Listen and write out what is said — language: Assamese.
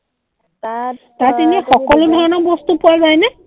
তাত এনেই সকলো ধৰণৰ বস্তু পোৱা যায় নে?